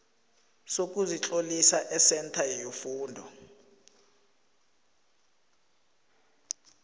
sokuzitlolisa esentha yefundo